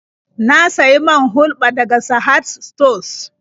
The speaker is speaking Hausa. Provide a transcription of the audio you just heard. Na sayi man hulɓa daga Sahad sutos.